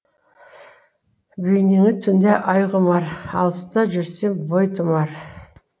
бейнеңе түнде ай құмар алыста жүрсем бой тұмар